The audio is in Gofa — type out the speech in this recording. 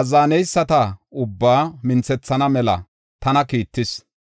azzaneyisata ubbaa minthethana mela tana kiittis.